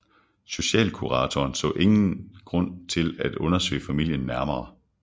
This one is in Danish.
Socialkuratoren så ingen grund til at undersøge familien nærmere